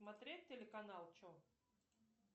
смотреть телеканал че